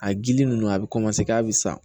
A gili nunnu a bi kɔmanse ka sa